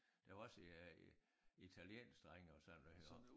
Der var også øh italienske drenge og sådan noget og